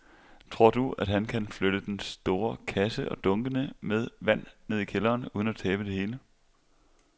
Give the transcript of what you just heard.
Tror du, at han kan flytte den store kasse og dunkene med vand ned i kælderen uden at tabe det hele?